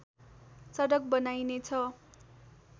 सडक बनाइने छ